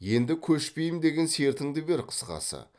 енді көшпейім деген сертіңді бер қысқасы